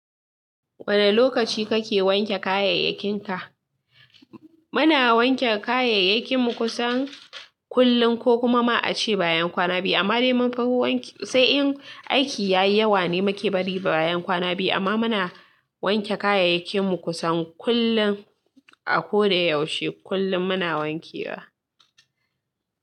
Wane lokaci kake wanke kayayyakinka? Muna wanke kayayyakin mu kusan kullum, ko kuma ma a ce bayan kwana biya. Amma dai munfi wanke, sai in aiki yayi yawa ne make bari bayan kwana biyu. Amma muna wanke kayayyakin mu kusan kullum. A ko da yaushe kullum muna wanke wa.